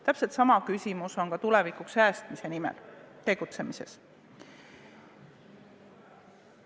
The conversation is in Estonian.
Täpselt sama kehtib ka tulevikuks säästmise nimel tegutsemisel.